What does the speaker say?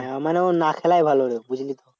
মানে আমার এমন না খেলাই ভালো রে।